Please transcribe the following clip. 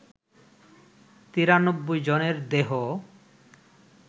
৯৩ জনের দেহ